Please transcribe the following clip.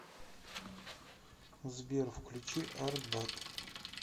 сбер включи артбат